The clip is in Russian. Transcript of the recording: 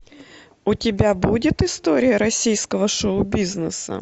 у тебя будет история российского шоу бизнеса